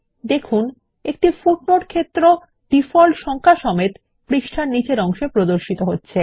দেখুন পৃষ্টার শেষে একটি পাদটীকা যোগ একটি সাংখিক মান রয়েছে